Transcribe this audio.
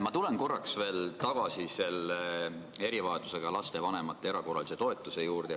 Ma tulen korraks veel tagasi selle erivajadusega laste vanemate erakorralise toetuse juurde.